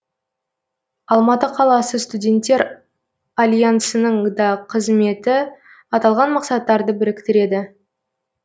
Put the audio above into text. алматы қаласы студенттер алянсының да қызметі аталған мақсаттарды біріктіреді